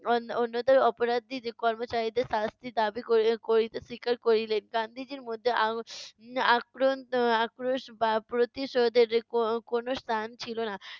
On~ অন্যদের অপরাধী যে কর্মচারীদের শাস্তি দাবি করি~ করিতে স্বীকার করিলেন। গান্ধীজীর মধ্যে আং~ উম আক্রোন~ আক্রোশ বা প্রতিশোধের কো~ কোনো স্থান ছিলো না।